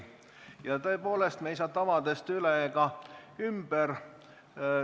Ja tõepoolest, me ei saa tavadest üle ega ümber.